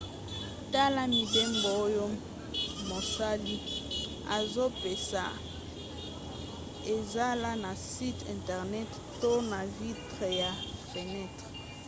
tala mibembo oyo mosali azopesa ezala na site internet to na vitre ya fenetre